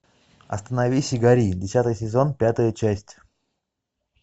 остановись и гори десятый сезон пятая часть